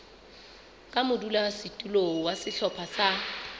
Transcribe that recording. ka modulasetulo wa sehlopha sa